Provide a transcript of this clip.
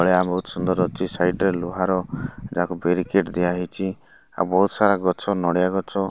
ନୟା ବହୁତ୍ ସୁନ୍ଦର୍ ଅଛି ସାଇଟ ରେ ଲୁହାର ବେରିଗେଟ୍ ଦିଆହେଇଚି ଆଉ ବହୁତସାରା ଗଛ ନଡ଼ିଆ ଗଛ --